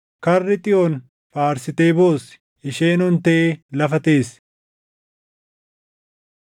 Karri Xiyoon faarsitee boossi; isheen ontee lafa teessi.